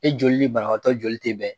E joli ni banabagatɔ joli tɛ bɛn.